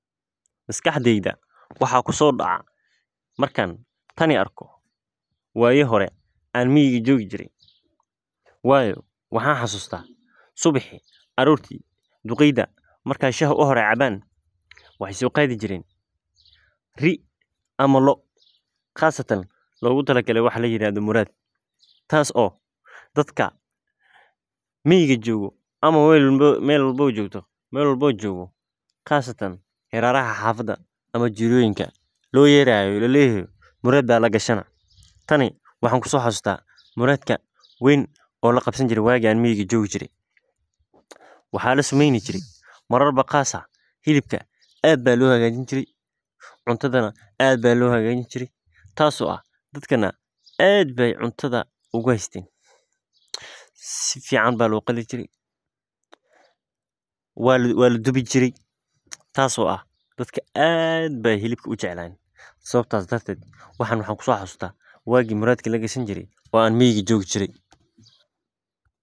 Maskaxdeyda waxaa kuso dacaah markan tani arko waya hore an miyi jogi jire, waayo waxaan xasustaah subixi arorti duqeydha markay shaha u hore cabaan waxaay so qadi jiren ri'i ama lo'o qasatan logutalagale waxaa layirahdho muraad, tas oo dadka miyiga jogo ama mel walbaba jogo qasatan iralaha xafada ama jiroyinka lo yerayo la leyaho murad ba lagashanah. Tani waxaan kusoxasustah muradka weyn oo laqabsani jire wagi an miyi jogi jire , waxaa lasameyni jire marar ba qas ah hilibka ad ba lo hagajin jire cuntadha na ad ba lo hagajin jire , tas oo ah dadkana ad bay cuntadha uguhaysten, sifican ba lo qali jire , waladuwi jire, tas oo ah dadka ad bay hilibka ujeclayen sababtas darted waxan waxan kusoxasustah wagi muradka lagashan jire an miyiga jogi jire .